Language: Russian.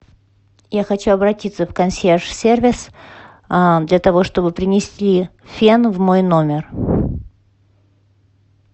я хочу обратиться в консьерж сервис для того чтобы принесли фен в мой номер